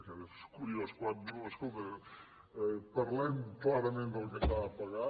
és curiós quan diu escolta parlem clarament del que s’ha de pagar